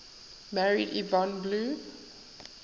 married yvonne blue